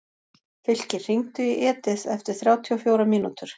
Fylkir, hringdu í Edith eftir þrjátíu og fjórar mínútur.